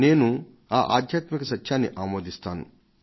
నేను ఈ ఆధ్యాత్మిక సత్యాన్ని ఆమోదిస్తాను